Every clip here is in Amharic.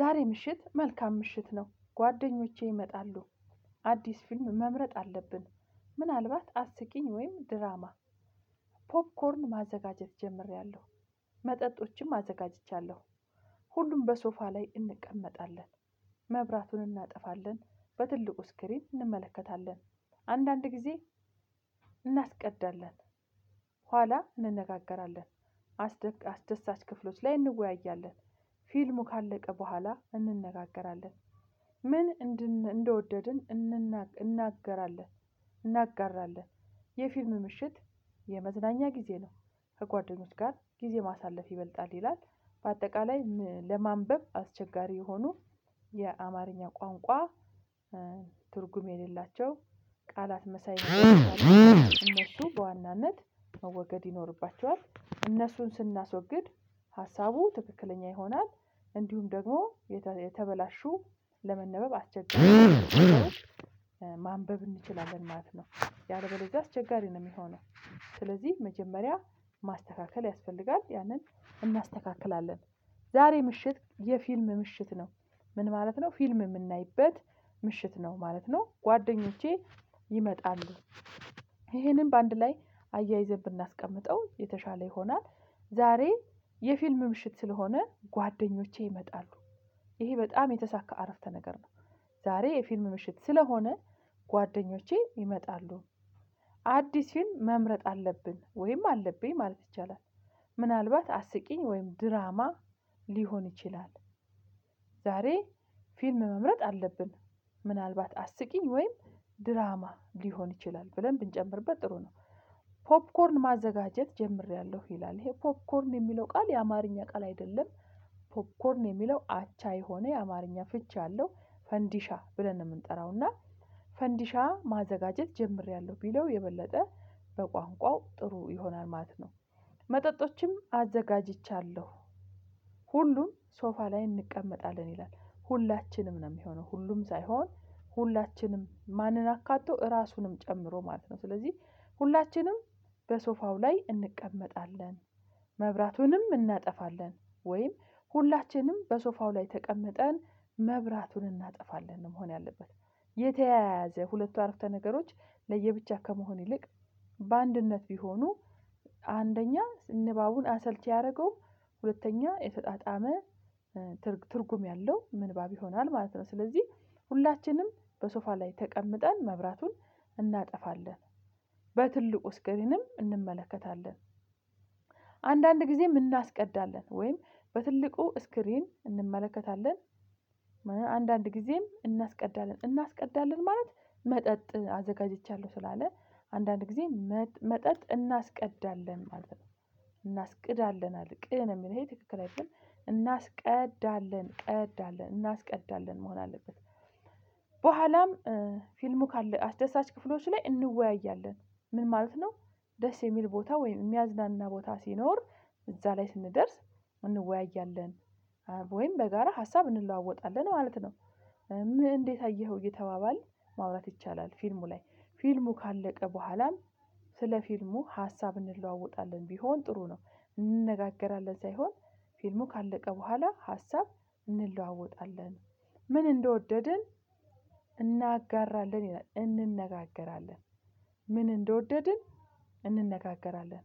ዛሬ ምሽት መልካም ምሽት ነው ጓደኞቼ ይመጣሉ። አዲስ ፊልም መምረጥ አለብን። ምናልባት አስቂኝ ወይም ድራማ። ፖፕኮርን ማዘጋጀት ጀምሬያለሁ። መጠጦችንም አዘጋጅቻለሁ። ሁሉም በሶፋ ላይ እንቀመጣለን። መብራቱን እናጠፋለን። በትልቁ ስክሪን እንመለከታለን። አንዳንድ ጊዜ እናስቀዳለን ኋላ እንነጋገራለን። አስደሳች ክፍሎች ላይ እንወያያለን። ፊልሙ ካለቀ በኋላ እንነጋገራለን። ምን እንደወደድን እናገራለን። እናጋራለን የፊልም ምሽት የመዝናኛ ጊዜ ነው። ከጓደኞች ጋር ጊዜ ማሳለፍ ይበልጣል ይላል። በአጠቃላይ ለማንበብ አስቸጋሪ የሆኑ የአማርኛ ቋንቋ ትርጉም የሌላቸው ቃላት መሳይ እነሱ በዋናነት መወገድ ይኖርባቸዋል እነሱን ስናስወግድ ሀሳቡ ትክክለኛ ይሆናል። እንዲሁም ደግሞ የተበላሹ ለመነበብ አስቸጋሪ ማንበብ እንችላለን ማለት ነው። ያለ በለዚያ አስቸጋሪ ነው የሚሆነው ስለዚህ መጀመሪያ ማስተካከል ያስፈልጋል ያንን እናስተካክላለን። ዛሬ ምሽት የፊልም ምሽት ነው። ምን ማለት ነው ፊልም የምናይበት ምሽት ነው ማለት ነው። ጓደኞቼ ይመጣሉ። ይሄንን በአንድ ላይ አያይዘን ብናስቀምጠው የተሻለ ይሆናል። ዛሬ የፊልም ምሽት ስለሆነ ጓደኞቼ ይመጣሉ። ይሄ በጣም የተሳካ አረፍተ ነገር ነው። ዛሬ የፊልም ምሽት ስለሆነ ጓደኞቼ ይመጣሉ። አዲስ ፊልም መምረጥ አለብን ወይም አለብኝ ማለት ይቻላል። ምናልባት አስቂኝ ወይም ድራማ ሊሆን ይችላል። ዛሬ ፊልም መምረጥ አለብን ምናልባት አስቂኝ ወይም ድራማ ሊሆን ይችላል ብለን ብንጨምርበት ጥሩ ነው። ፖፕኮርን ማዘጋጀት ጀምሬያለሁ ይላል ይሄ ፖፕኮርን የሚለው ቃል የአማርኛ ቃል አይደለም። ፖፕኮርን የሚለው አቻ የሆነ የአማርኛ ፍቺ አለው ፈንዲሻ ብለን ነው የምንጠራው እና ፈንዲሻ ማዘጋጀት ጀምሬያለሁ ቢለው የበለጠ በቋንቋው ጥሩ ይሆናል ማለት ነው። መጠጦችም አዘጋጅቻለሁ። ሁሉም ሶፋ ላይ እንቀመጣለን ይላል ሁላችንም ነው የሚሆነው ሁሉም ሳይሆን ሁላችንም ማንን አካቶ ራሱንም ጨምሮ ማለት ነው ስለዚህ ሁላችንም በሶፋው ላይ እንቀመጣለን። መብራቱንም እናጠፋለን ወይም ሁላችንም በሶፋው ላይ ተቀምጠን መብራቱን እናጠፋለን መሆን ያለበት። የተያያዘ ሁለቱ አረፍተ ነገሮች ለየብቻ ከመሆን ይልቅ በአንድነት ቢሆኑ አንደኛ ንባቡን አሰልቺ አያደረገውም ሁለተኛ የተጣጣመ ትርጉም ያለው ምንባብ ይሆናል ማለት ነው። ስለዚህ ሁላችንም በሶፋ ላይ ተቀምጠን መብራቱን እናጠፋለን። በትልቁ እስኪረንም እንመለከታለን አንዳንድ ጊዜ የምናስቀዳለን ወይም በትልቁ ስክሪን እንመለከታለን። አንዳንድ ጊዜም እናስቀዳለን እናስቀዳለን ማለት መጠጥ አዘጋጅቻለሁ ስላለ አንዳንድ ጊዜ መጠጥ እናስቀዳለን ማለት ነው። እናስቅዳለን ቅነው የሚለው የሚለኝ ትክክል አይደለም እናስቀዳለን እናስቀዳለን መሆን አለበት። በኋላም ፊልሙ ካለ አስደሳች ክፍሎች ላይ እንወያያለን። ምን ማለት ነው? ደስ የሚል ቦታ ወይም የሚያዝናና ቦታ ሲኖር እዛ ላይ ስንደርስ እንወያያለን ወይም በጋራ ሀሳብ እንለዋወጣለን ማለት ነው። እንዴት አየኸው እየተባባል ማውራት ይቻላል። ፊልሙ ላይ ፊልሙ ካለቀ በኋላም ስለ ፊልሙ ሀሳብ እንለዋወጣለን ቢሆን ጥሩ ነው። እንነጋገራለን ሳይሆን ፊልሙ ካለቀ በኋላ ሀሳብ እንለዋወጣለን። ምን እንደወደድን እናጋራለን እንነጋገራለን። ምን እንደወደድን እንነጋገራለን።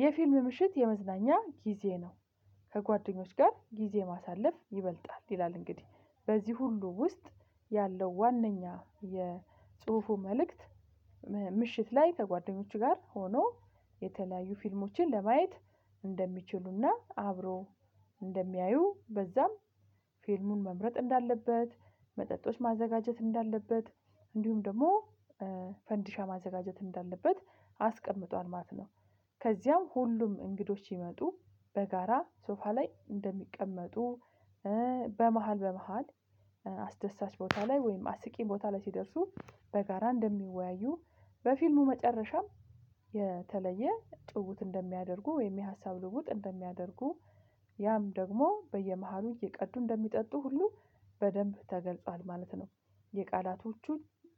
የፊልም ምሽት የመዝናኛ ጊዜ ነው። ከጓደኞች ጋር ጊዜ ማሳለፍ ይበልጣል ይላል። እንግዲህ በዚህ ሁሉ ውስጥ ያለው ዋናኛ የጽሁፉ መልእክት ምሽት ላይ ከጓደኞችህ ጋር ሆኖ የተለያዩ ፊልሞችን ለማየት እንደሚችሉና አብሮ እንደሚያዩ በዛም ፊልሙን መምረጥ እንዳለበት መጠጦች ማዘጋጀት እንዳለበት እንዲሁም ደግሞ ፈንዲሻ ማዘጋጀት እንዳለበት አስቀምጧል ማለት ነው። ከዚያም ሁሉም እንግዶች ሲመጡ በጋራ ሶፋ ላይ እንደሚቀመጡ በመሃል በመሃል አስደሳች ቦታ ላይ ወይም አስቂኝ ቦታ ላይ ሲደርሱ በጋራ እንደሚወያዩ በፊልሙ መጨረሻም የተለየ ጭውውት እንደሚያደርጉ ወይም የሀሳብ ልውጥ እንደሚያደርጉ ያም ደግሞ በየመሃሉ እየቀዱ እንደሚጠጡ ሁሉ በደንብ ተገልጿል ማለት ነው። የቃላቶቹ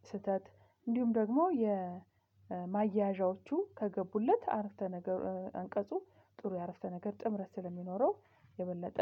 ስህተት እንዲሁም ደግሞ የማያዣዎቹ ከገቡለት አረፍተ ነገር አንቀጹ ጥሩ የአረፍተ ነገር ጥምረት ስለሚኖረው የበለጠ